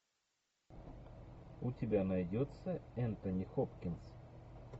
у тебя найдется энтони хопкинс